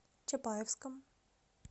чапаевском